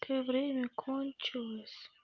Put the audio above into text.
у тебя время кончилось